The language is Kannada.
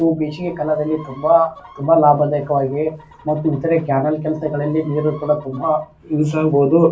ಅವು ಬೇಸಿಗೆ ಕಾಲದಲ್ಲಿ ತುಂಬಾ ತುಂಬಾ ಲಾಭದಾಯಕವಾಗಿ ಮತ್ತು ಇತರ ಕ್ಯಾನೆಲ್ ಕೆಲಸಗಳಲ್ಲಿ ನೀರುಗಳು ತುಂಬಾ ಯೂಸ್ ಆಗಬಹುದು.